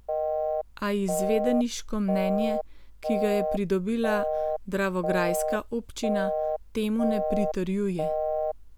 A izvedeniško mnenje, ki ga je pridobila dravograjska občina, temu ne pritrjuje.